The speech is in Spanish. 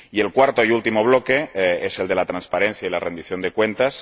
Y el cuarto y último bloque es el de la transparencia y la rendición de cuentas.